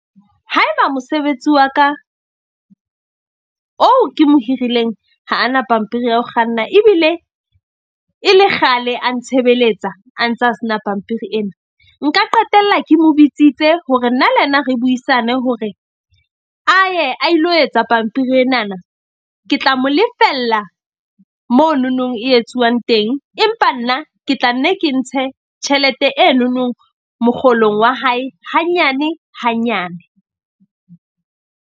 Haeba mosebetsi wa ka oo ke mo hirileng ha ana pampiri ya ho kganna. Ebile e le kgale a ntshebeletsa a ntsa sena pampiri ena. Nka qetella ke mo bitsitse hore nna le yena re buisane hore a ye a ilo etsa pampiri enana, ke tla mo lefella mononong e etsuwang teng. Empa nna ke tla nne ke ntshe tjhelete enonong mokgolong wa hae hanyane hanyane.